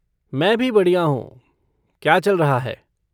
मैं भी बढ़िया हूँ। क्या चल रहा है?